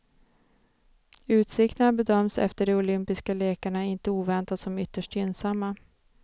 Utsikterna bedöms efter de olympiska lekarna inte oväntat som ytterst gynnsamma.